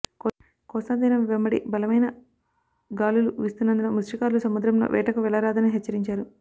కోస్తా తీరం వెంబడి బలమైన గాలులు వీస్తున్నందున మత్స్యకారులు సముద్రంలో వేటకు వెళ్లరాదని హెచ్చరించారు